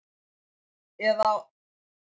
Eða á stofnun aftur.